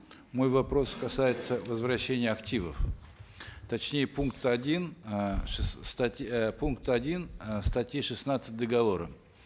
мой вопрос касается возвращения активов точнее пункта один э статьи э пункта один э статьи шестнадцать договора